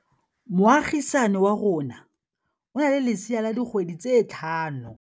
Moagisane wa rona o na le lesea la dikgwedi tse tlhano.